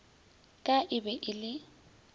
ka e be e le